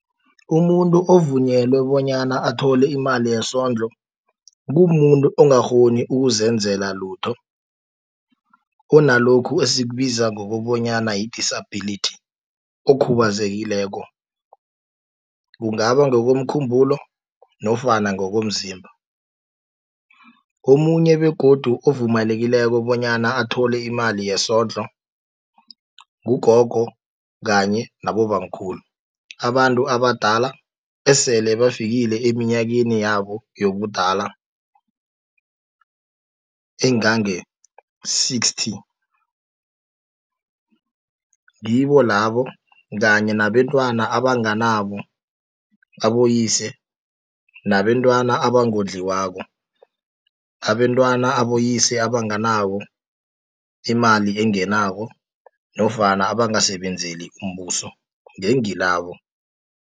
Umuntu ovunyelwe bonyana athole imali yesondlo, kumuntu ongakghoni ukuzenzela lutho, kunalokhu esikubiza ngokobonyana yi-disability, okhubazekileko, kungaba ngokomkhumbulo, nofana ngokomzimba. Omunye begodu obuvumelekileko bonyana athole imali yesondlo, ngugogo kanye nabobamkhulu. Abantu abadala esele bafikile eminyakeni yabo yobudala, engange-sixty. Ngibolabo kanye nabentwana abanganabo aboyise, nabentwana abangodliwako, abentwana aboyise abanganawo imali engenako, nofana abangasebenzeli umbuso, ngengilabo.